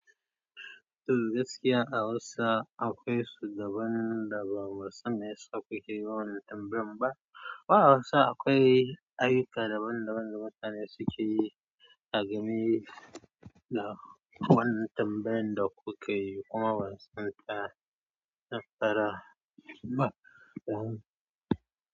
Toh gaskiya a Hausa akwai su daban da ba mu sani su suke yi wannan tambayan ba. Wa Hausa akwai ayyuka daban daban da mutane suke yi a game da wannan tambayan da kuke yi kuma ban sani ta na fara ba.